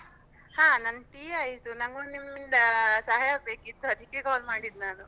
ಹಾ ನನ್ tea ಆಯ್ತು. ನಂಗೊಂದು ನಿಮ್ಮಿಂದ ಸಹಾಯ ಬೇಕಿತ್ತು ಅದಕ್ಕೆ call ಮಾಡಿದ್ ನಾನು.